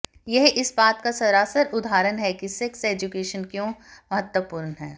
यह इस बात का सरासर उदाहरण है कि सेक्स एजुकेशन क्यों महत्वपूर्ण है